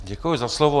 Děkuji za slovo.